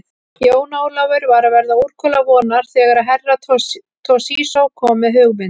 Jón Ólafur var að verða úrkula vonar þegar Herra Toshizo kom með hugmynd.